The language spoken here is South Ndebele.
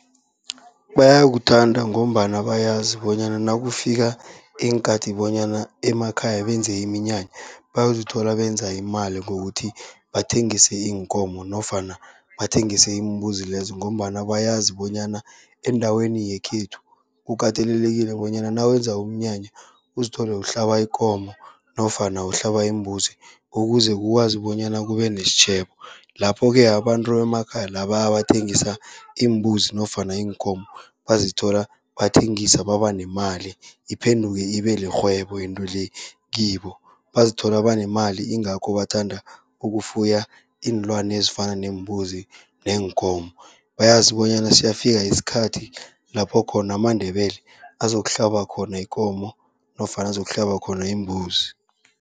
Bayakuthanda ngombana bayazi bonyana nakufika iinkathi bonyana emakhaya benze iminyanya, bayozithola benza imali ngokuthi bathengise iinkomo nofana bathengise iimbuzi lezo. Ngombana bayazi bonyana endaweni yekhethu, kukatelelekile bonyana nawenza umnyanya uzithole uhlaba ikomo nofana uhlaba imbuzi, ukuze kukwazi bonyana kube nesitjhebo. Lapho-ke abantu bemakhaya laba abathengisa iimbuzi nofana iinkomo, bazithola bathengisa baba nemali iphenduke ibe lirhwebo into le kibo. Bazithola banemali ingakho bathanda ukufuya iinlwana ezifana neembuzi neenkomo, bayazi bonyana siyafika isikhathi lapho khona amaNdebele azokuhlaba khona ikomo nofana azokuhlaba khona imbuzi.